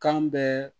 Kan bɛɛ